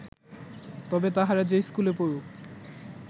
তবে তাহারা যে স্কুলে পড়ুক